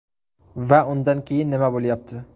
Va undan keyin nima bo‘lyapti?